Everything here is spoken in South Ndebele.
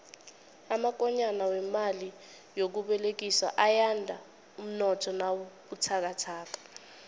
amakonyana wemali yokubolekiswa ayanda umnotho nawubuthakathaka